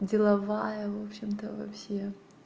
деловая в общем-то во все